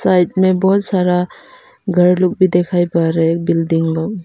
side में बहोत सारा घर लोग भी दिखाई पड़ रहे एक बिल्डिंग लोग--